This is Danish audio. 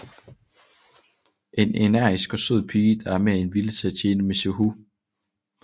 En energisk og sød pige der er mere end villig til at tjene Mizuho